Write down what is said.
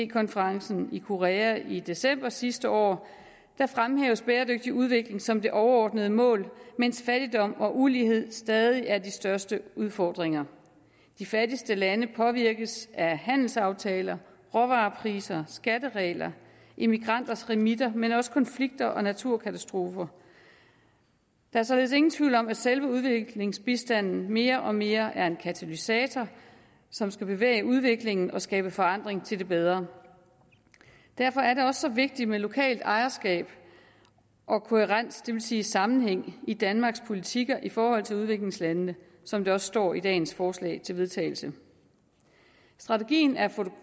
konferencen i korea i december sidste år fremhæves bæredygtig udvikling som det overordnede mål mens fattigdom og ulighed stadig er de største udfordringer de fattigste lande påvirkes af handelsaftaler råvarepriser skatteregler og emigranters remisser men også af konflikter og naturkatastrofer der er således ingen tvivl om at selve udviklingsbistanden mere og mere er en katalysator som skal bevæge udviklingen og skabe forandring til det bedre derfor er det også så vigtigt med lokalt ejerskab og kohærens det vil sige sammenhæng i danmarks politikker i forhold til udviklingslandene som det også står i dagens forslag til vedtagelse strategien er